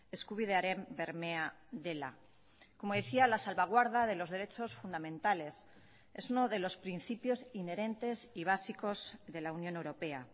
eskubidearen bermea dela como decía la salvaguarda de los derechos fundamentales es uno de los principios inherentes y básicos de la unión europea